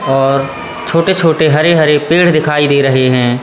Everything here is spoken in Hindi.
और छोटे छोटे हरे हरे पेड़ दिखाई दे रहे हैं।